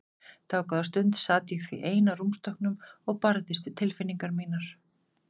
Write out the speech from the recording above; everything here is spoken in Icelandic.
Dágóða stund sat ég því ein á rúmstokknum og barðist við tilfinningar mínar.